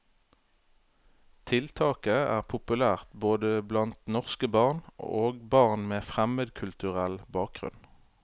Tiltaket er populært både blant norske barn og barn med fremmedkulturell bakgrunn.